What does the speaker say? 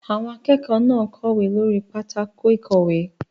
Àwọn akẹ́kọ̀ọ́ náà ń kọ̀wé lórí pátákó ìkọ̀wé.